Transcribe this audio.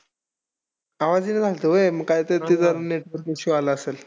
आवाज येई ना झाल्त व्हय? मग काहीतरी ते जरा network issue आला असेल.